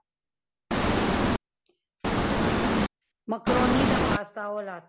macaroni ਦਾ pasta ਉਹ ਵਾਲਾ